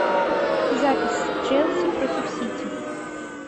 запись челси против сити